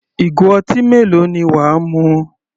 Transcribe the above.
Ìgò ọtí mélòó ni wà á mu?